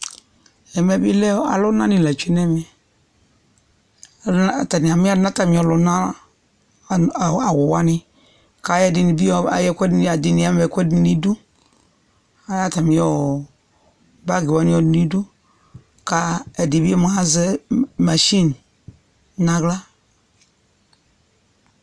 Ɛmɛ bɩ lɛ alʋnanɩ la tsue n'ɛmɛ :alʋna atanɩ amɛdʋ n'atamɩ ɔlʋna awʋ awʋ wanɩ k'ayɔ ɛdɩnɩ bɩ ayɔ ɛkʋɛdɩnɩ ɛdɩnɩ ama ɛkʋɛdɩ n'idu, k'ayɔbatamɩ ɔɔ bagɩ wanɩ yɔ dʋ n'idu ka ɛdɩ bɩ mʋa azɛ masɩnɩ n'aɣla